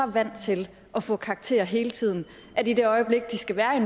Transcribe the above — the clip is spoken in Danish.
vant til at få karakterer hele tiden at i det øjeblik de skal være i